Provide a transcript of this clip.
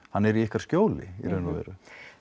hann er í ykkar skjóli í raun og veru